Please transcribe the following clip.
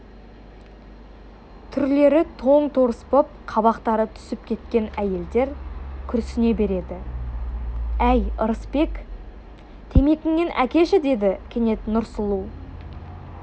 түрлері тоң-торыс боп қабақтары түсіп кеткен әйелдер күрсіне береді әй ырысбек темекіңнен әкеші деді кенет нұрсұлу